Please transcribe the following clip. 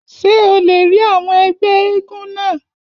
Ṣé o lè rí àwọn ẹgbẹ́ éégún náà?